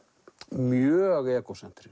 mjög